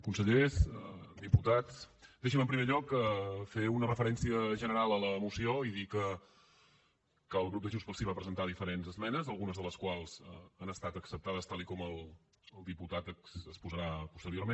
consellers diputats deixin me en primer lloc fer una referència general a la moció i dir que el grup de junts pel sí va presentar diferents esmenes algunes de les quals han estat acceptades tal com el diputat exposarà posteriorment